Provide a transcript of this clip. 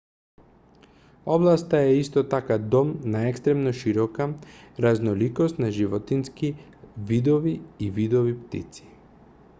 областа е исто така дом на екстремно широка разноликост на животински видови и видови птици